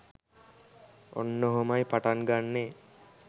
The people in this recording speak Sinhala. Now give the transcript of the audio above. ඔන්න ඔහොමයි පටන් ගන්නේ.